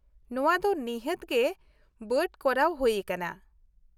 ᱱᱚᱶᱟ ᱫᱚ ᱱᱤᱦᱷᱟ.ᱛ ᱜᱮ ᱵᱟᱰ ᱠᱚᱨᱟᱣ ᱦᱩᱭ ᱟᱠᱟᱱᱟ ᱾